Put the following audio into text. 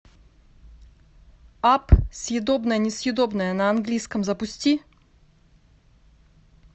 апп съедобное несъедобное на английском запусти